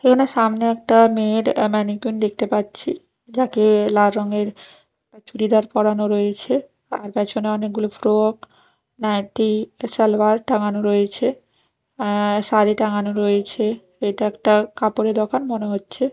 এখানে সামনে একটা মেয়ের আ ম্যানিকুইন দেখতে পাচ্ছি যাকে লাল রঙের চুড়িদার পরানো রয়েছে তার পেছনে অনেকগুলো ফ্রক নাইটি সালোয়ার টাঙানো রয়েছে অ্যা শাড়ি টাঙানো রয়েছে এটা একটা কাপড়ের দোকান মনে হচ্ছে।